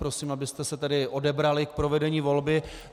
Prosím, abyste se tedy odebrali k provedení volby.